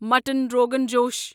mutton rogan جوش